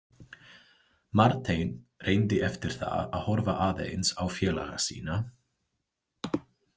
Marteinn reyndi eftir það að horfa aðeins á félaga sína.